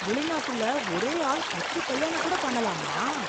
வெளிநாட்டுல ஒரே ஆள் பத்து கல்யாணம் கூட பண்ணலாமா!